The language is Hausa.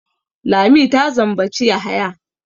Lami ta zambaci Yahaya.